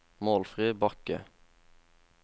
Målfrid Bakke